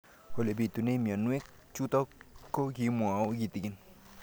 Ole pitune mionwek chutok ko kimwau kitig'�n